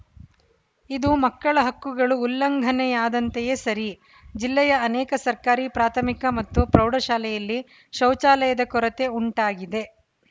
ಇದು ಮಕ್ಕಳ ಹಕ್ಕುಗಳು ಉಲ್ಲಂಘನೆಯಾದಂತೆಯೇ ಸರಿ ಜಿಲ್ಲೆಯ ಅನೇಕ ಸರ್ಕಾರಿ ಪ್ರಾಥಮಿಕ ಮತ್ತು ಪ್ರೌಢ ಶಾಲೆಯಲ್ಲಿ ಶೌಚಾಲಯದ ಕೊರತೆ ಉಂಟಾಗಿದೆ